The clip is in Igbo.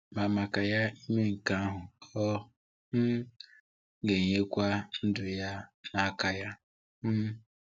Ma maka ya ime nke ahụ, ọ um ga-enyekwa ndụ ya n’aka Ya. um